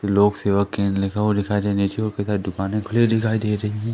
लोक सेवा केंद्र लिखा हुआ दिखाई देने से वो कैसा दुकान खुली दिखाई दे रही--